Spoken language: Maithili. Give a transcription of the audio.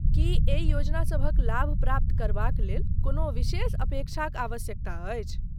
की एहि योजना सभक लाभ प्राप्त करबाक लेल कोनो विशेष अपेक्षाक आवश्यकता अछि?